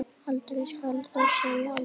Aldrei skal þó segja aldrei.